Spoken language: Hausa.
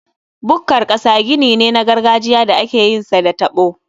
Bukkar ƙasa gini ne na gargajiya da akeyin sa da taɓo.